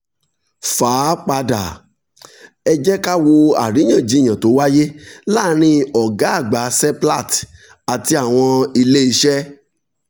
fà á padà: ẹ jẹ́ ká wo àríyànjiyàn tó wáyé láàárín ọ̀gá àgbà seplat àti àwọn ilé iṣẹ́